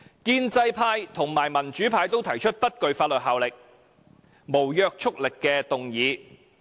建制派和民主派均提出不具法律約束力的議案。